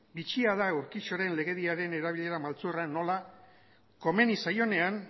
bitxia da urquijoren legediaren erabilera maltzurra nola komeni zaionean